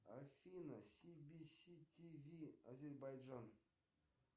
афина сибиси тв азербайджан